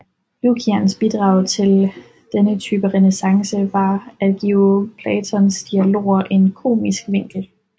Lukians bidrag til denne type renæssance var at give Platons dialoger en komisk vinkel